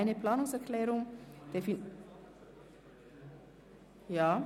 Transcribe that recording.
Es liegt eine Planungserklärung der FiKo-Mehrheit vor.